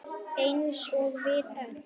Eins og við öll.